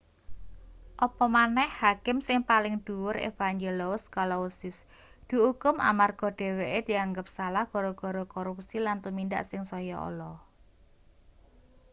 apa maneh hakim sing paling dhuwur evangelous kalousis diukum amarga dheweke dianggep salah gara-gara korupsi lan tumindak sing saya ala